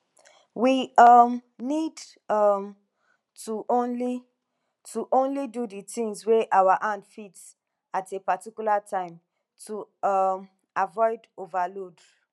we um need um to only to only do di tins wey our hand fit at a particular time to um avoid overload